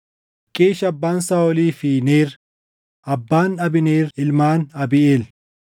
Qiish abbaan Saaʼolii fi Neer abbaan Abneer ilmaan Abiiʼeel.